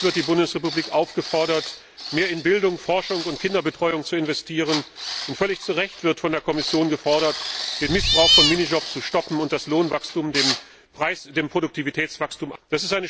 Völlig zu Recht wird die Bundesrepublik aufgefordert, mehr in Bildung, Forschung und Kinderbetreuung zu investieren, und völlig zu Recht wird von der Kommission gefordert, den Missbrauch von Minijobs zu stoppen und das Lohnwachstum dem Produktivitätswachstum anzupassen.